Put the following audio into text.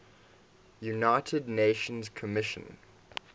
united nations commission